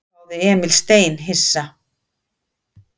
hváði Emil steinhissa.